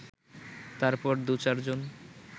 তারপর দু-চার জন